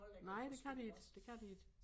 Nej det kan de ikke det kan de ikke